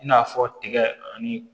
I n'a fɔ tigɛ ani